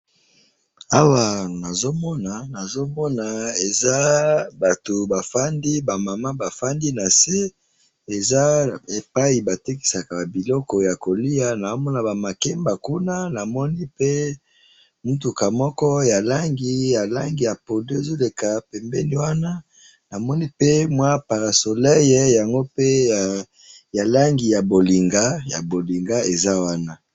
awa nazo mona nazo mona eza batu bafandi ba maman bafandi nase eza epayi batekisaka ba biloko ya koliya naho mona ba makemba kuna namoni pe mutuka moko ya langi ya langi ya pondou namoni pe mwa para solei ya langi ya polinga ezali pe wana